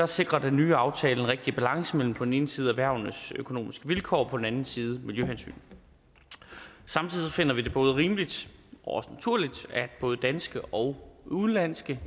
sikrer den nye aftale en rigtig balance mellem på den ene side erhvervenes økonomiske vilkår og på den anden side miljøhensyn samtidig finder vi det både rimeligt og også naturligt at både danske og udenlandske